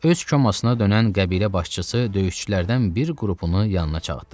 Öz çomasına dönən qəbilə başçısı döyüşçülərdən bir qrupunu yanına çağırdırdı.